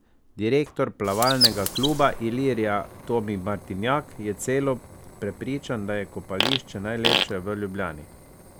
Direktor plavalnega kluba Ilirija Tomi Martinjak je celo prepričan, da je kopališče najlepše v Ljubljani.